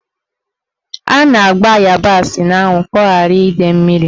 A na-agba ịyabasị n'anwụ ka ọ ghara ide mmiri.